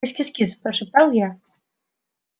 кис-кис-кис прошептал я